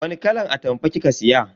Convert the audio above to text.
Wani kalan atamfa kika siya?